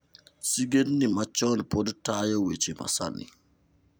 Sigendni machon pod tayo weche masani.